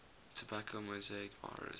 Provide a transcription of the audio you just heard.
tobacco mosaic virus